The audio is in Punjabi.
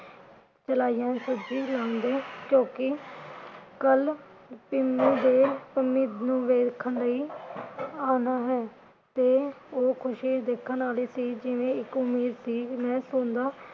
ਜੋ ਕਿ ਕਲ ਪਿੰਮੀ ਦੇ ਪੰਮੀ ਨੂੰ ਵੇਖਣ ਲਈ ਆਉਣਾ ਹੈ ਤੇ ਉਹ ਖੁਸ਼ੀ ਦੇਖਣ ਵਾਲੀ ਸੀ ਜਿਵੇ ਉਮੀਦ ਸੀ ਕਿ ਮੈਂ ਸੁਣਦਾ